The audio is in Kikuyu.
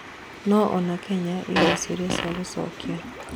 No ona Kenya ĩna ciũria cia gũcokia